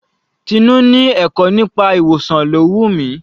Tinú ni ẹ̀kọ́ nípa ìwòsàn ló wù mí.